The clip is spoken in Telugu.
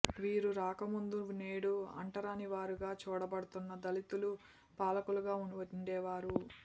వీరు రాక ముందు నేడు అంటరానివారుగా చూడబడుతున్న దళితులు పాలకులుగా వుండేవారు